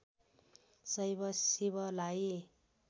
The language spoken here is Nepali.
शैव शिवलाई